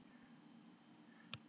Það er orðið fært uppeftir.